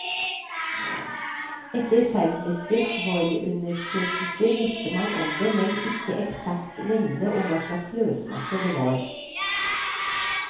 Etter seismiske forundersøkelsene visste man om det, men ikke eksakt lengde og hva slag løsmasse det var.